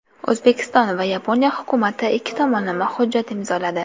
O‘zbekiston va Yaponiya hukumati ikki tomonlama hujjat imzoladi.